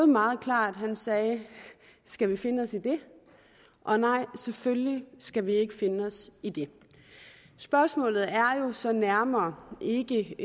meget klart han sagde skal vi finde os i det og nej selvfølgelig skal vi ikke finde os i det spørgsmålet er jo så nærmere ikke